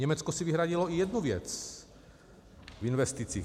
Německo si vyhradilo i jednu věc v investicích.